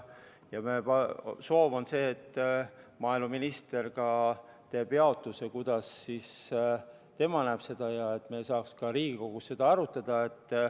Maaeluminister teeb oma jaotuse ja annab teada, kuidas tema seda näeb, et me saaksime siis Riigikogus seda arutada.